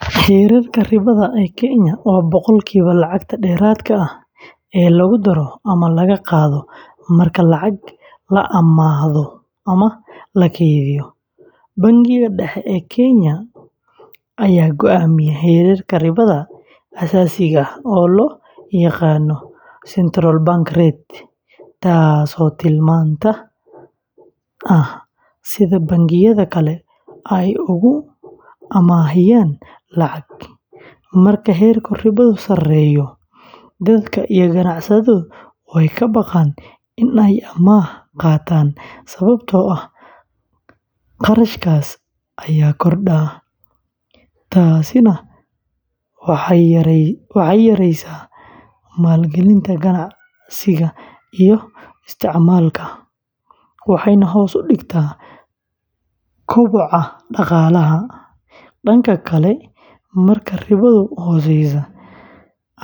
Heerka ribada ee Kenya waa boqolkiiba lacagta dheeraadka ah ee lagu daro ama laga qaado marka lacag la amaahdo ama la kaydiyo. Bangiga Dhexe ee Kenya ayaa go’aamiya heerka ribada aasaasiga ah oo loo yaqaan Central Bank Rate taasoo tilmaanta ah sida bangiyada kale ay ugu amaahiyaan lacag. Marka heerka ribadu sareeyo, dadka iyo ganacsatadu way ka baqaan in ay amaah qaataan sababtoo ah kharashka ayaa kordha. Taasina waxay yareysaa maalgelinta ganacsiga iyo isticmaalka, waxayna hoos u dhigtaa koboca dhaqaalaha. Dhanka kale, marka ribadu hooseyso,